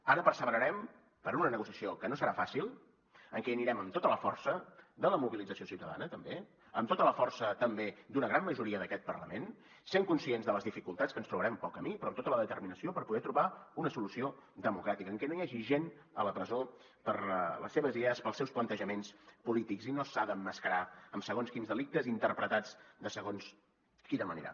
ara perseverarem per una negociació que no serà fàcil en què hi anirem amb tota la força de la mobilització ciutadana també amb tota la força també d’una gran majoria d’aquest parlament sent conscients de les dificultats que ens trobarem pel camí però amb tota la determinació per poder trobar una solució democràtica en què no hi hagi gent a la presó per les seves idees pels seus plantejaments polítics i no s’ha de emmascarar amb segons quins delictes interpretats de segons quina manera